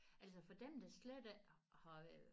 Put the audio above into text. Altså for dem der slet ikke har